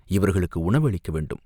இவர்களுக்கு உணவு அளிக்க வேண்டும்.